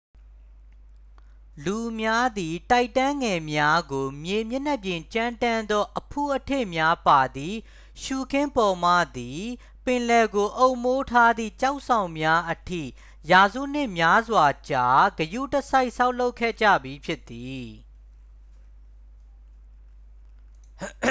လူများသည် တိုက်တန်းငယ်များကို မြေမျက်နှာပြင်ကြမ်းတမ်းသော အဖုအထစ်များပါသည့် ရှုခင်းပေါ်မှသည် ပင်လယ်ကို အုပ်မိုးထားသည့် ကျောက်ဆောင်များအထိ ရာစုနှစ်များစွာကြာ ဂရုတစိုက်ဆောက်လုပ်ခဲ့ကြပြီးဖြစ်သည်